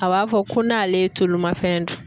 A b'a fɔ ko n'ale ye tolumafɛn dun.